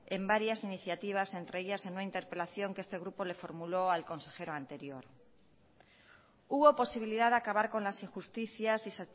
en varias iniciativas entre ellas en una interpelación que este grupo le formuló al consejero anterior hubo posibilidad de acabar con las injusticias y